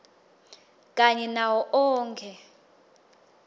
kanye nawo onkhe